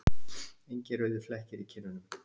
Engir rauðir flekkir í kinnunum.